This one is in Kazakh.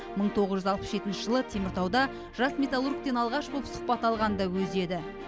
мың тоғыз жүз алпыс жетінші жылы теміртауда жас металлургтен алғаш боп сұхбат алған да өзі еді